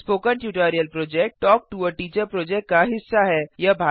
spoken tutorial project talk to a teacher project का हिस्सा है